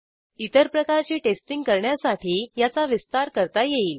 इतर प्रकारचे टेस्टींग करण्यासाठी याचा विस्तार करता येईल